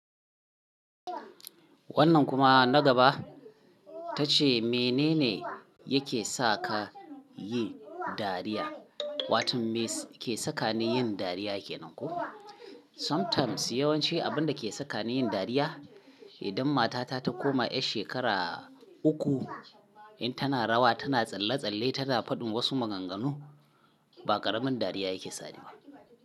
Wannan kuma na gaba tace mene ne yake sa ka yi dariya? Wato me ke sakani yin dariya yake nan ko? Sometimes yawanci abin da ke sakani yin dariya, idan mata ta ta koma 'yar shekara uku, in tana rawa, tana tsalle-tsalle, tana faɗin wasu maganganu, ba ƙaramin dariya yake saniba.